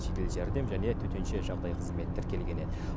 жедел жәрдем және төтенше жағдай қызметі тіркелген еді